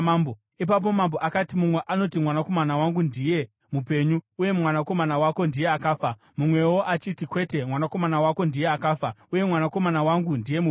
Ipapo mambo akati, “Mumwe anoti, ‘Mwanakomana wangu ndiye mupenyu, uye mwanakomana wako ndiye akafa,’ mumwewo achiti, ‘Kwete! Mwanakomana wako ndiye akafa, uye mwanakomana wangu ndiye mupenyu.’ ”